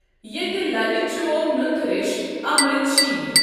یٚیتہِ للہ چوو نُندٕ ریشٚۍ امرؠت شیٖر۔